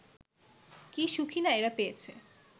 কী সুখই না এরা পেয়েছে